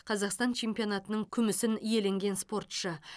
қазақстан чемпионатының күмісін иеленген спортшы